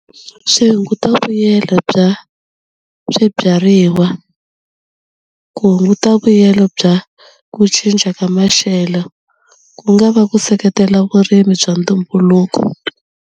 Swi hunguta vuyelo bya swibyariwa ku hunguta vuyelo bya ku cinca ka maxelo ku nga va ku seketela vurimi bya ntumbuluko.